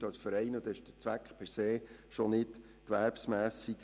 Somit sind ihre Dienstleistungen per se nicht gewerbsmässig.